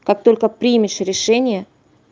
как только примешь решение